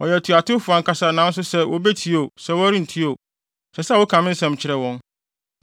Wɔyɛ atuatewfo ankasa nanso sɛ wobetie oo, sɛ wɔrentie oo, ɛsɛ sɛ woka me nsɛm kyerɛ wɔn.